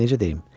Necə deyim?